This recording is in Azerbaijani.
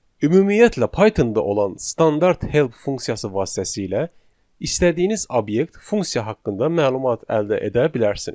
Ümumiyyətlə Python-da olan standart help funksiyası vasitəsilə istədiyiniz obyekt, funksiya haqqında məlumat əldə edə bilərsiniz.